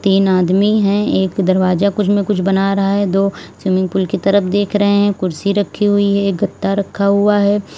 तीन आदमी है एक दरवाजा कुछ में कुछ बना रहा है दो स्विमिंग पूल की तरफ देख रहे हैं कुर्सी रखी हुई है गद्दा रखा हुआ है।